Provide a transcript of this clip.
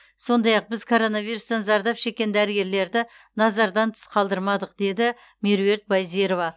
сондай ақ біз коронавирустан зардап шеккен дәрігерлерді назардан тыс қалдырмадық деді меруерт байзирова